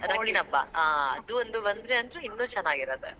ಹೋಳಿ ಹಬ್ಬಾ, ಅದು ಒಂದ್ ಬಂದ್ರೆ ಅಂತ್ರು ಇನ್ನೂ ಚೆನ್ನಾಗಿರತ್ತೆ.